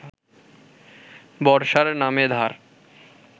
বর্ষার নামে ধার